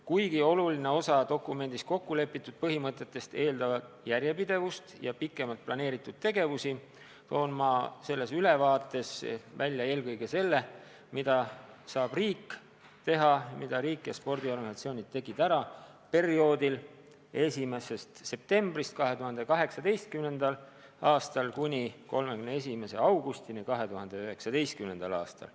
Kuigi oluline osa dokumendis kokku lepitud põhimõtetest eeldavad järjepidevust ja pikemalt planeeritud tegevusi, toon ma selles ülevaates välja eelkõige selle, mida saab riik teha ja mida riik ja spordiorganisatsioonid tegid ära perioodil 1. septembrist 2018. aastal kuni 31. augustini 2019. aastal.